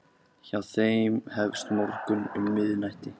Hjá þeim hefst morgunn um miðnætti.